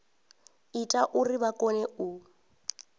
ita uri vha kone u